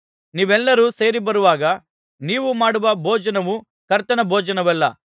ನೀವೆಲ್ಲರು ಸೇರಿಬರುವಾಗ ನೀವು ಮಾಡುವ ಭೋಜನವು ಕರ್ತನ ಭೋಜನವಲ್ಲ